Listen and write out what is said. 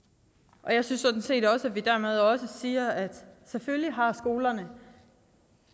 jeg synes set sådan set at vi dermed også siger at selvfølgelig har skolerne